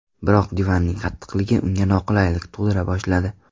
Biroq divanning qattiqligi unga noqulaylik tug‘dira boshladi.